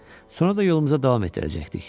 Sonra da yolumuza davam etdirəcəkdik.